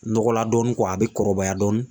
Nɔgɔ la dɔɔnin a bɛ kɔrɔbaya dɔɔnin.